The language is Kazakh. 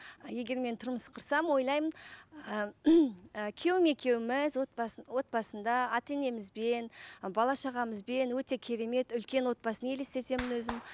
егер мен тұрмыс құрсам ойлаймын ы ы күйеуім екеуіміз отбасы отбасында ата енемізбен ы бала шағамызбен өте керемет үлкен отбасын елестетемін өзім